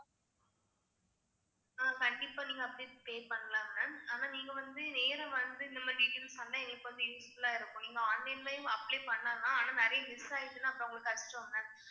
இப்போ நீங்க அப்படிகூட pay பண்ணலாம் ma'am அனா நீங்க வந்து நேரா வந்து எங்களுக்கு கொஞ்சம் useful ஆ இருக்கும் நீங்க online லேயும் apply பண்ணலாம் ஆனா நிறைய miss ஆயிருச்சுன்னா அப்பறம் உங்களுக்கு கஷ்டம்ல